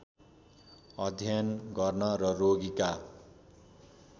अध्ययन गर्न र रोगीका